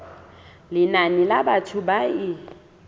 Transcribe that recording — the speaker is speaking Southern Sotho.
lenane la batho ba e